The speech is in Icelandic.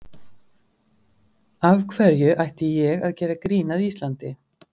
Af hverju ætti ég að gera grín að Íslandi?